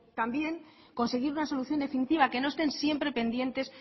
también conseguir una solución definitiva que no estén siempre pendientes